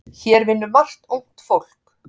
Hér vinnur margt ungt fólk.